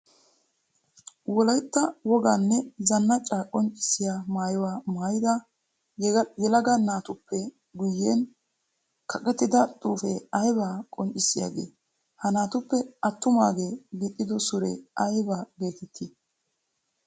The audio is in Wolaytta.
Wolaytta wogaanne zanaaqa qonccissiya maayuwaa maayida yelaga naatuppe guyen kaqettida xuufe aybba qonccissiyaage? Ha naatuppe atumaage gixxido suree aybba geetetti?